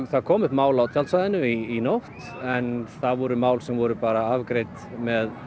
það komu upp mál á tjaldsvæðinu núna í nótt en það voru mál sem voru afgreidd með